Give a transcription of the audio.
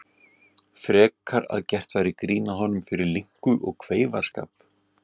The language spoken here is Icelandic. Frekar að gert væri grín að honum fyrir linku og kveifarskap.